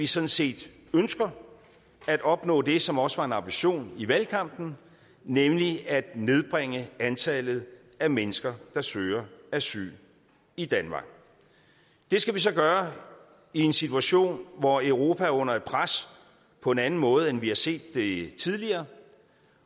sådan set at opnå det som også var en ambition i valgkampen nemlig at nedbringe antallet af mennesker der søger asyl i danmark det skal vi så gøre i en situation hvor europa er under et pres på en anden måde end vi har set det tidligere